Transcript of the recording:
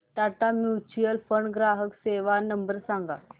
Tata mutual fund ग्राहक सेवा number सांगा